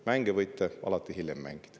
Mänge võite alati hiljem mängida.